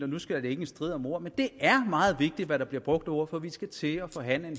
nu skal være en strid om ord men det er meget vigtigt hvad der bliver brugt af ord for vi skal til at forhandle en